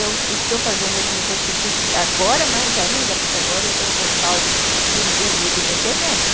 Eu estou fazendo alguma coisa, estou pesquisando, agora mais ainda, porque agora eu tenho o respaldo de um Google, de uma internet.